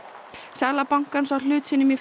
sala bankans á hlut sínum í